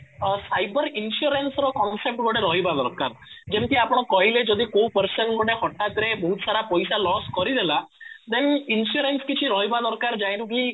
ଅଂ cyber insurance ର concept ଗୋଟେ ରହିବା ଦରକାର ଯେମିତି ଆପଣ କହିଲେ ଯଦି କୋଉ person ଗୋଟେ ହଟାତ ରେ ବହୁତ ସାରା ପଇସା loss କରିଦେଲା then insurance କିଛି ରହିବା ଦରକାର ଯାହା ଠୁ କି